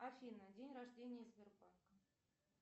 афина день рождения сбербанка